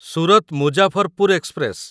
Surat Muzaffarpur express